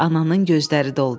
Ananın gözləri doldu.